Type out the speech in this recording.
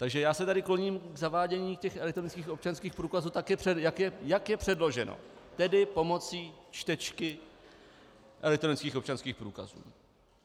Takže já se tady kloním k zavádění těch elektronických občanských průkazů, jak je předloženo, tedy pomocí čtečky elektronických občanských průkazů.